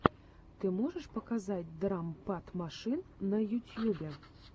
ты можешь показать драм пад машин на ютьюбе